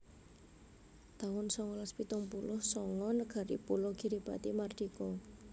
taun songolas pitung puluh sanga Negari pulo Kiribati mardika